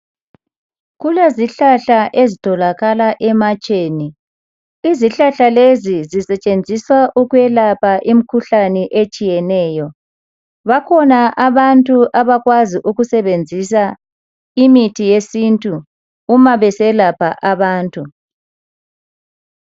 Kulezihlahla ezitholakala ematsheni. Izihlahla lezi zisetshenziswa ukwelapha imkhuhlane ezitshiyeneyo. Bakhona abantu abakwazi ukusebenzisa imithi yesintu uma beselapha abantu.